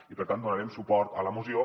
i per tant donarem suport a la moció